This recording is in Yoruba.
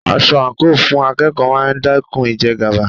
Aṣọ àǹkóò fún akẹ́kọ̀ọ́ máa dẹ́kun ìjẹgàba.